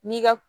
N'i ka